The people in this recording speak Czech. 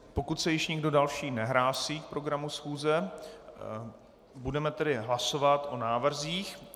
Pokud se již nikdo další nehlásí k programu schůze, budeme tedy hlasovat o návrzích.